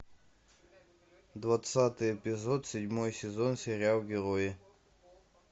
двадцатый эпизод седьмой сезон сериал герои